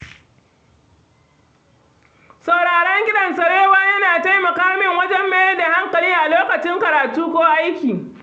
Sauraron kiɗan sarewa yana taimaka min wajen mayar da hankali a lokacin karatu ko aiki.